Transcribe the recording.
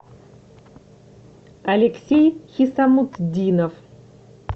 алексей хисамутдинов